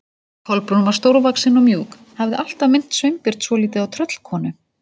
Kolbrún var stórvaxin og mjúk, hafði alltaf minnt Sveinbjörn svolítið á tröllkonu.